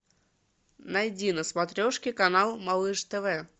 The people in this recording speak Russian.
найди на смотрешке канал малыш тв